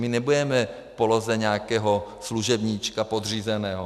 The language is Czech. My nebudeme v poloze nějakého služebníčka, podřízeného.